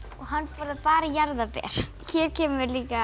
og hann borðar bara jarðarber hér kemur líka